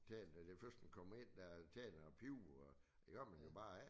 Tænder den første kommer ind der tænder en pibe og der gør man jo bare ikke